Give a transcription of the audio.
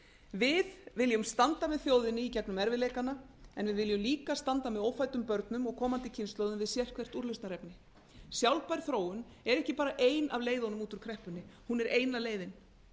við viljum standa með þjóðinni gegnum erfiðleikana en við viljum líka standa með ófæddum börnum og komandi kynslóðum við sérhvert úrlausnarefni sjálfbær þróun er ekki bara ein af leiðunum út úr kreppunni hún er eina leiðin